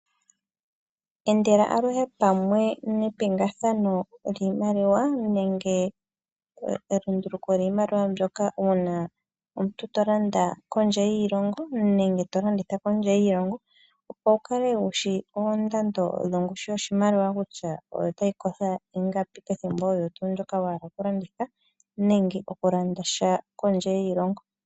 Endela aluhe pamwe nepingathano lyiimaliwa nenge elunduluko lyiimaliwa mbyoka uuna omuntu tolanda kondje yiilongo nenge tolanditha kondje yiilongo, opo wukale wushi oondando dhongushu yoshimaliwa kutya otayi kotha ingapi pethimbo ndyoka wahala okulanditha nenge okulanda sha kondje yiilongo.